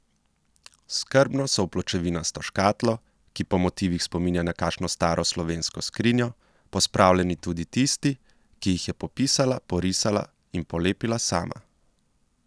Skrbno so v pločevinasto škatlo, ki po motivih spominja na kakšno staro slovensko skrinjo, pospravljeni tudi tisti, ki jih je popisala, porisala in polepila sama.